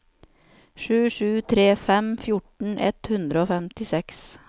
sju sju tre fem fjorten ett hundre og femtiseks